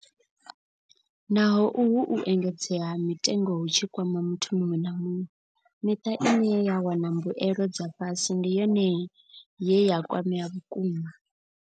Naho uhu u engedzea ha mitengo hu tshi kwama muthu muṅwe na muṅwe, miṱa ine ya wana mbuelo dza fhasi ndi yone ye ya kwamea vhukuma.